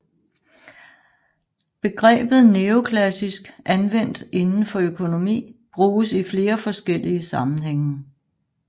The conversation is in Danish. Begrebet neoklassisk anvendt inden for økonomi bruges i flere forskellige sammenhænge